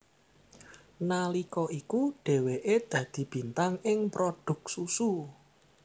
Nalika iku dheweke dadi bintang ing prodhuk susu